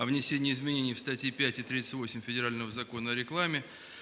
о внесении изменений в статье пять и тридцать пять федерального закона о рекламе